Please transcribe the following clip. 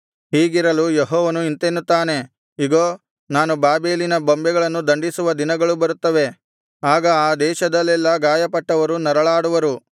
ಹೀಗಿರಲು ಯೆಹೋವನು ಇಂತೆನ್ನುತ್ತಾನೆ ಇಗೋ ನಾನು ಬಾಬೆಲಿನ ಬೊಂಬೆಗಳನ್ನು ದಂಡಿಸುವ ದಿನಗಳು ಬರುತ್ತವೆ ಆಗ ಆ ದೇಶದಲ್ಲೆಲ್ಲಾ ಗಾಯಪಟ್ಟವರು ನರಳಾಡುವರು